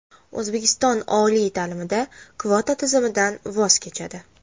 O‘zbekiston oliy ta’limda kvota tizimidan voz kechadi.